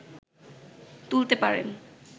তুলতে পারেন